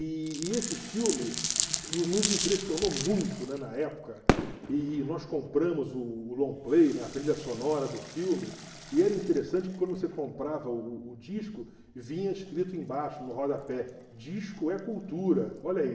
E e esse filme no nos impressionou muito, né, na época, e e nós compramos o o long play, né, trilha sonora do filme, e era interessante que quando você comprava o o o disco, vinha escrito embaixo, no rodapé, disco é cultura, olha aí.